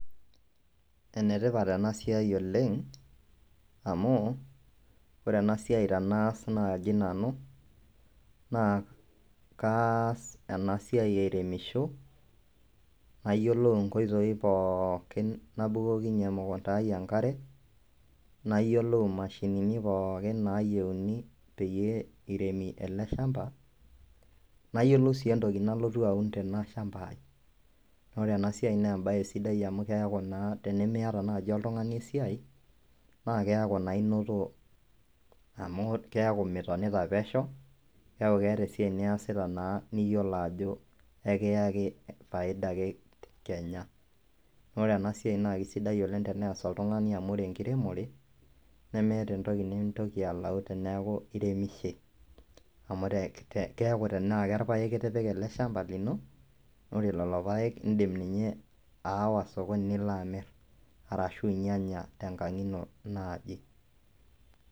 Ene tipat ena siai oleng' amu ore ena siai tenaas naaji nanu kaas ena siai airemisho nayiolou nkoitoi pookin nabukokinye emukunda ai enkare, nayiolou mashinini pookin naayeuni peyie iremi ele shamba, nayiolou sii entoki nalotu aun tena shamba ai. Naa ore ena siai nee embaye sidai amu keeku naa tenimiata naaji oltung'ani esiai naake eeku naa inoto amu keeku mitonita pesho, keeku keeta esiai niyasita naa niyolo ajo kekiyaki faida ake kenya. Naa ore ena siai naake sidai oleng' tenees oltung'ani amu ore enkiremore nemeeta entoki nintoki alau teneeku iremishe amu re te keeku tenaake irpaek itipika ele shamba lino, ore lelo paek indim ninye aawa sokoni nilo amir arashu inyanya tenkang' ino naaji.